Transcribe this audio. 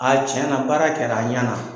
A tiɲɛna baara kɛ la, a ɲana!